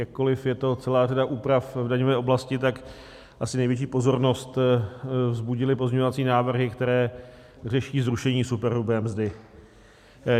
Jakkoliv je to celá řada úprav v daňové oblasti, tak asi největší pozornost vzbudily pozměňovací návrhy, které řeší zrušení superhrubé mzdy.